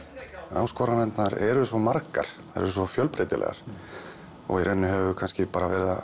áskoranirnar eru svo margar þær eru svo fjölbreytilegar og í rauninni höfum við kannski bara verið að